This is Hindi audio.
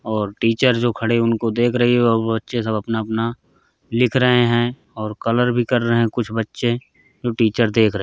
और टीचर जो खड़े उनको देख रही है और बच्चे सब अपना-अपना लिख रहे हैं और कलर भी कर रहे हैं कुछ बच्चे जो टीचर देख रहे --